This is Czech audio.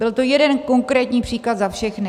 Byl to jeden konkrétní příklad za všechny.